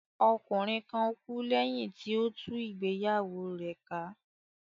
Ọkùnrin kan kú lẹ́yìn tí ó tú ìgbéyàwó rẹ̀ ká